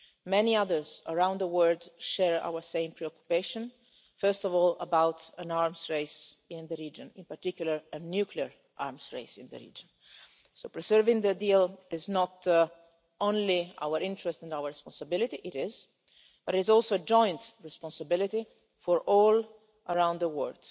Many others around the world share our same preoccupation, first of all about an arms race in the region, in particular a nuclear arms race in the region. So preserving the deal is not only in our interest and our responsibility it is but it is also a joint responsibility for all around the world.